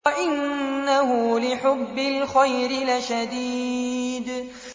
وَإِنَّهُ لِحُبِّ الْخَيْرِ لَشَدِيدٌ